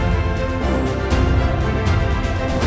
Bəşəriyyət üçün bu böyük bir təhlükədir.